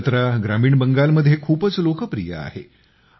ही जत्रा ग्रामीण बंगालमध्ये खूपच लोकप्रिय आहे